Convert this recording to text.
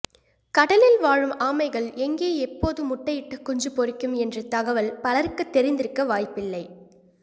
கடலில் வாழும் ஆமைகள் எங்கே எப்போது முட்டையிட்டு குஞ்சு பொரிக்கும் என்ற தகவல் பலருக்குத் தெரிந்திருக்க வாய்ப்பில்லை